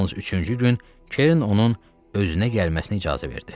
Yalnız üçüncü gün Kern onun özünə gəlməsinə icazə verdi.